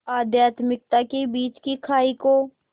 आध्यात्मिकता के बीच की खाई को